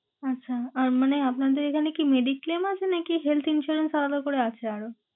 আচ্ছা, আর মানে আপনাদের এখানে কি mediclaim আছে নাকি health insurance আলাদা করে আছে আরও?